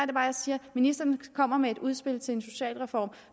det bare jeg siger at ministeren kommer med et udspil til en socialreform